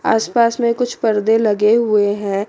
आस पास में कुछ पर्दे लगे हुवे हैं।